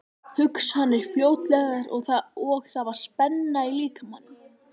Hugsanirnar flóttalegar og það var spenna í líkamanum.